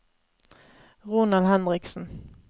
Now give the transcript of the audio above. Ronald Henriksen